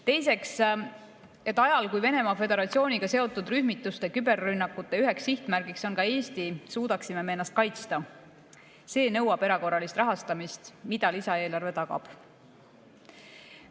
Teiseks, et ajal, kui Venemaa Föderatsiooniga seotud rühmituste küberrünnakute üheks sihtmärgiks on ka Eesti, suudaksime me ennast kaitsta – see nõuab erakorralist rahastamist, mida lisaeelarve tagab.